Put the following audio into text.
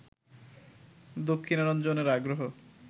দক্ষিণারঞ্জনের আগ্রহ